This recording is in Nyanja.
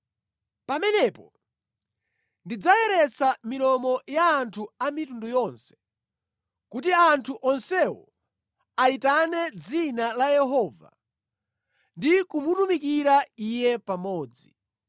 “Pamenepo ndidzayeretsa milomo ya anthu a mitundu yonse kuti anthu onsewo ayitane dzina la Yehova ndi kumutumikira Iye pamodzi.